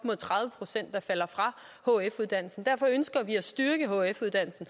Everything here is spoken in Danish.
er falder fra hf uddannelsen derfor ønsker vi at styrke hf uddannelsen